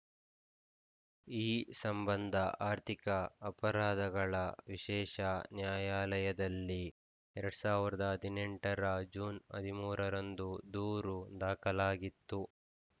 ಈ ಸಂಬಂಧ ಅರ್ಥಿಕ ಅಪರಾಧಗಳ ವಿಶೇಷ ನ್ಯಾಯಾಲಯದಲ್ಲಿ ಎರಡ್ ಸಾವಿರದ ಹದಿನೆಂಟರ ಜೂನ್ ಹದಿಮೂರರಂದು ದೂರು ದಾಖಲಾಗಿತ್ತು